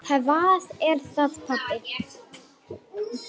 Að minnsta kosti föður sínum.